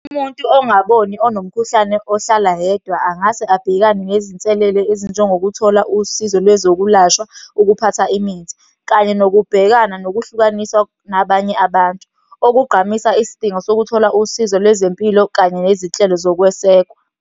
Umuntu ongaboni, onomkhuhlane, ohlala yedwa angase abhekane nezinselele ezinjengokuthola usizo lwezokulashwa ukuphatha imithi, kanye nokubhekana nokuhlukanisa nabanye abantu. Okugqamisa isidingo sokuthola usizo lwezempilo, kanye nezitshelo zokwesekwa.